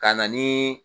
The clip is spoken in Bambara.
Ka na ni